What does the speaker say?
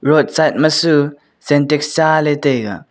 road side machu SyntexSyntex tsaley taiga.